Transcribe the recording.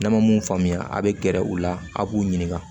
N'a ma mun faamuya a bɛ gɛrɛ u la a b'u ɲininka